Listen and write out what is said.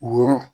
Woro